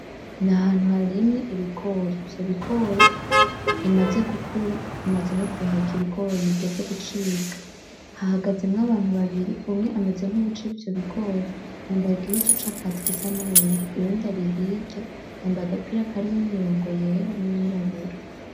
N’ahantu harimye ibigori. Ivyo bigori bimaze gukura bimaze no guheka ibigori bigeze gucibwa. Hahagazemwo abantu babiri umwe ameze nk'uwuca ivyo bigori yambaye igihuzu c'akazi gisa n'ubururu, uyundi ari hirya yambaye agapira karimwo imurongo yera n'iyirabura.